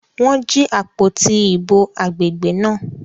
Wọ́n jí àpótí ìbò agbègbè náà.